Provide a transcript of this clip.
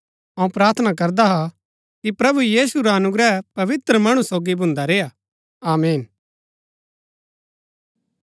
अऊँ प्रार्थना करदा हा कि प्रभु यीशु रा अनुग्रह पवित्र मणु रै सोगी भून्दा रेय्आ आमीन